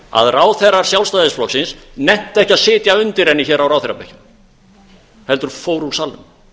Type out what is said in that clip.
að ráðherrar sjálfstæðisflokksins nenntu ekki að sitja undir henni hér á ráðherrabekkjum heldur fóru úr salnum